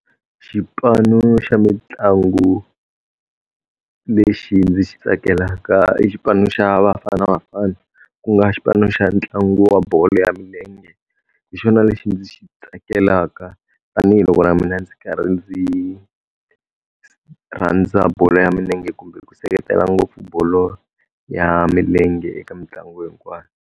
Xipano xa mitlangu lexi ndzi xi tsakelaka i xipano xa Bafana Bafana, ku nga xipano xa ntlangu wa bolo ya milenge. Hi xona lexi ndzi xi tsakelaka tanihiloko na mina ndzi karhi ndzi rhandza bolo ya milenge kumbe ku seketela ngopfu bolo ya milenge eka mitlangu hinkwayo.